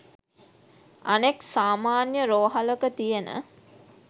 අනෙක් සාමාන්‍ය රෝහලක තියෙන